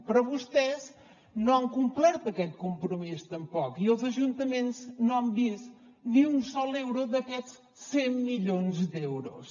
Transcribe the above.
però vostès no han complert aquest compromís tampoc i els ajuntaments no han vist ni un sol euro d’aquests cent milions d’euros